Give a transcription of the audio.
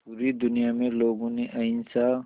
पूरी दुनिया में लोगों ने अहिंसा